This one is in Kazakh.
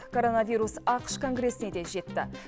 коронавирус ақш конгресіне де жетті